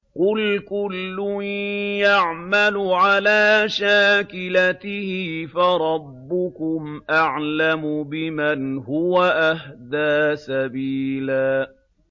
قُلْ كُلٌّ يَعْمَلُ عَلَىٰ شَاكِلَتِهِ فَرَبُّكُمْ أَعْلَمُ بِمَنْ هُوَ أَهْدَىٰ سَبِيلًا